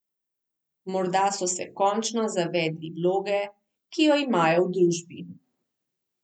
Morda so se končno zavedli vloge, ki jo imajo v družbi.